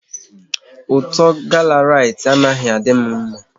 Ụtọ gala Rite anaghị adị m mma